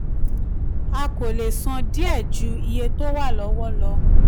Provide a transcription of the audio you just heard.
a kò le san díẹ̀ ju iye tó wà lọ́wọ́ lọ.